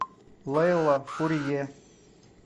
лейла фурье